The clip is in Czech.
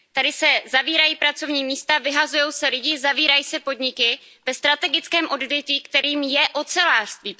Tady se zavírají pracovní místa, vyhazují se lidé, zavírají se podniky ve strategickém odvětví, kterým je ocelářství.